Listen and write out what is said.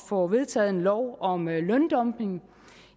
få vedtaget en lov om løndumping